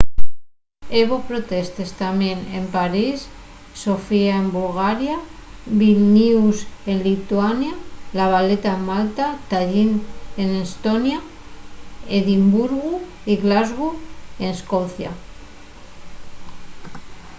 hebo protestes tamién en parís sofía en bulgaria vilnius en lituania la valeta en malta tallín n’estonia y edimburgu y glasgow n’escocia